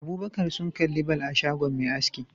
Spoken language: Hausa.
Abubakar sun kalli ball a shagon Me aski